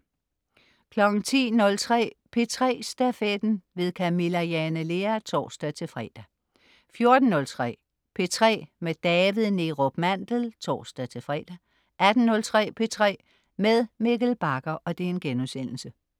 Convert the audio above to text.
10.03 P3 Stafetten. Camilla Jane Lea (tors-fre) 14.03 P3 med David Neerup Mandel (tors-fre) 18.03 P3 med Mikkel Bagger*